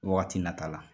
Wagati nata la